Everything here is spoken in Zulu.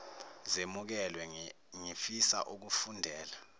zemukelwe ngifisa ukufundela